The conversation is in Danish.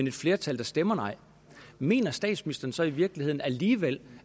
et flertal der stemmer nej mener statsministeren så i virkeligheden alligevel